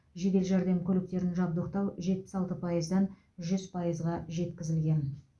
жедел жәрдем көліктерін жабдықтау жетпіс алты пайыздан жүз пайызға жеткізілген